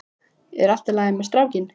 Er allt í lagi með strákinn?